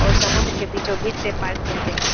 और समुद्र के बीचों-बीच से पार किया गया है।